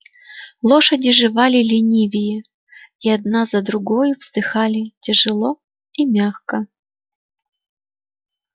лошади жевали ленивее и одна за другою вздыхали тяжело и мягко